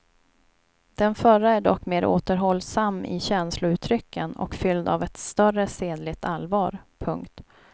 Den förra är dock mer återhållsam i känslouttrycken och fylld av ett större sedligt allvar. punkt